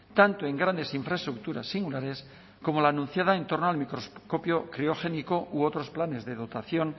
tanto en grandes infraestructuras singulares como la anunciada en torno al microscopio criogénico u otros planes de dotación